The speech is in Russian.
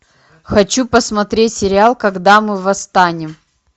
хочу посмотреть сериал когда мы восстанем